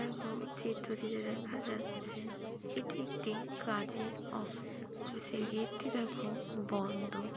দেখো চিত্রটিতে দেখা যাচ্ছে এটি একটি কাজের অফ । অফিস এর গেট টি দেখো বন্ধ।